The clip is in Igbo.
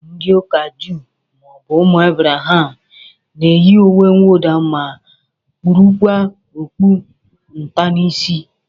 Ndị ụka juu maọbụ ụmụ Abraham na-eyi uwemwụda ma kpurukwa okpu nta n'isi